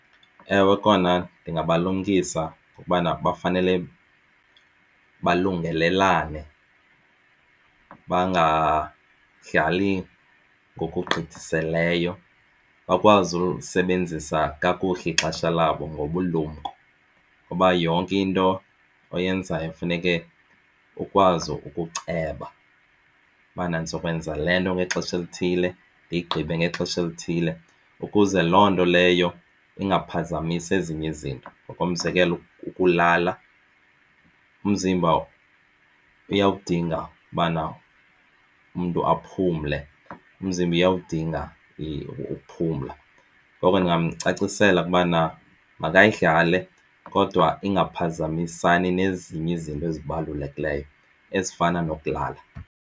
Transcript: Ewe, kona ndingabalumkisa ukubana bafanele balungelelane bangadlali ngokugqithisileyo bakwazi ulisebenzisa kakuhle ixesha labo ngobulumko. Kuba yonke into oyenzayo kufuneke ukwazi ukuceba ubana ndizokwenza le nto ngexesha elithile ndiyigqibe ngexesha elithile ukuze loo nto leyo ingaphazamisi ezinye izinto. Ngokomzekelo, ukulala umzimba uyawudinga ubana umntu aphumle umzimba uyakudinga ukuphumla. Ngoko ndingamcacisela ukubana makayidlale kodwa ingaphazamisani nezinye izinto ezibalulekileyo ezifana nokulala.